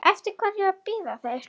Eftir hverju bíða þeir?